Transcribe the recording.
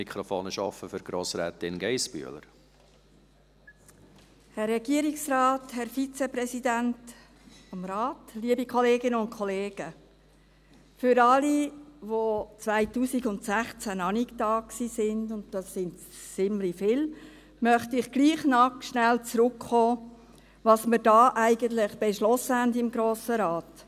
Für alle, die 2016 noch nicht da waren, und das sind ziemlich viele, möchte ich trotzdem noch einmal kurz zurückkommen auf das, was wir da eigentlich beschlossen haben im Grossen Rat.